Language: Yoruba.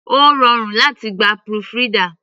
Ó rọrùn láti gba proofreader.